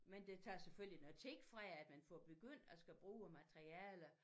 Men det tager selvfølgelig noget tid fra at man får begyndt og skal bruge æ materialer